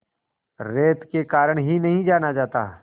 रेत के कारण ही नहीं जाना जाता